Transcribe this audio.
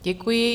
Děkuji.